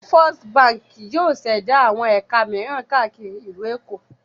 First Báńkì yóò ṣẹ̀dá àwọn ẹ̀ka mìíràn káàkiri ìlú Èkó.